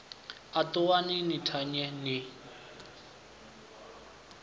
a ṱuwani ni thanye ni